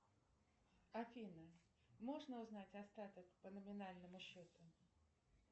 афина можно узнать остаток по номинальному счету